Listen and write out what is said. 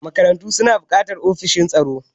Makarantu suna buƙatar ofishin tsaro.